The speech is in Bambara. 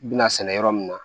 U bina sɛnɛ yɔrɔ min na